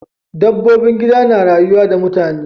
Dabbobin gida na rayuwa da mutane.